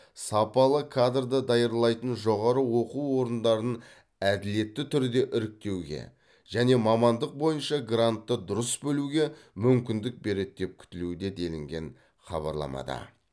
сапалы кадрды даярлайтын жоғары оқу орындарын әділетті түрде іріктеуге және мамандық бойынша гранты дұрыс бөлуге мүмкіндік береді деп күтілуде делінген хабарламада